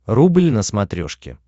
рубль на смотрешке